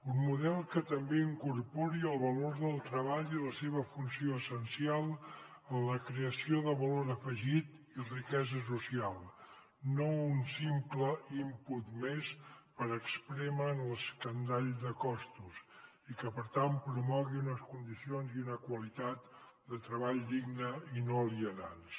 un model que també incorpori el valor del treball i la seva funció essencial en la creació de valor afegit i riquesa social no un simple input més per esprémer en l’escandall de costos i que per tant promogui unes condicions i una qualitat de treball digne i no alienants